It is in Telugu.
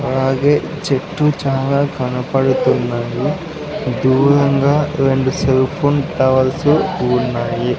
అలాగే చెట్టు చాలా కనపడుతున్నాయి దూరంగా రెండు సెల్ ఫోన్ టవల్సు ఉన్నాయి.